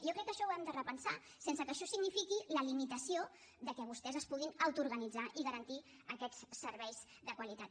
jo crec que això ho hem de repensar sense que això signifiqui la limitació que vostès es puguin autoorganitzar i garantir aquests serveis de qualitat